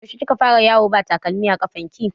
Yaushe kika fara yawo ba takalmi a ƙafar ki?